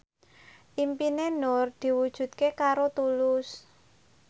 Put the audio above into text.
impine Nur diwujudke karo Tulus